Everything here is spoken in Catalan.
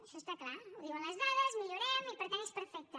això està clar ho diuen les dades millorem i per tant és perfecte